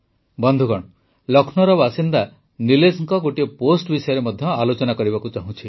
ବନ୍ଧୁଗଣ ଲକ୍ଷ୍ମୌର ବାସିନ୍ଦା ନିଲେଶଙ୍କ ଗୋଟିଏ ପୋଷ୍ଟ ବିଷୟରେ ମଧ୍ୟ ଆଲୋଚନା କରିବାକୁ ଚାହୁଁଛି